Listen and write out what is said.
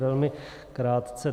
Velmi krátce.